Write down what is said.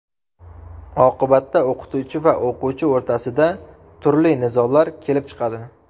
Oqibatda o‘qituvchi va o‘quvchi o‘rtasida turli nizolar kelib chiqadi.